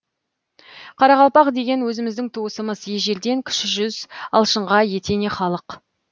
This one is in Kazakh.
қарақалпақ деген өзіміздің туысымыз ежелден кіші жүз алшынға етене халық